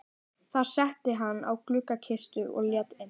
Þar settist hann á gluggakistuna og leit inn.